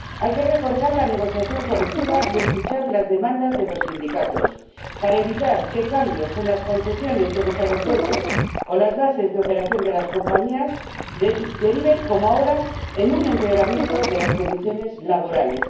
Hay que reforzar la negociación colectiva y escuchar las demandas de los sindicatos para evitar que cambios en las concesiones de los aeropuertos o las bases de operación de las compañías deriven, como ahora, en un empeoramiento de las condiciones laborales.